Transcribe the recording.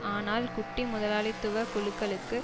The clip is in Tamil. ஆனால் குட்டி முதலாளித்துவ குழுக்களுக்கு